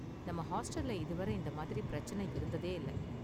நம்ம ஹாஸ்டல்ல இது வரை இந்த மாதிரி பிரச்சனை இருந்ததே இல்ல